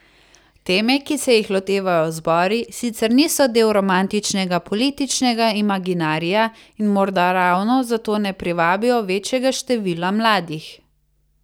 Teme, ki se jih lotevajo zbori, sicer niso del romantičnega političnega imaginarija in morda ravno zato ne privabijo večjega števila mladih.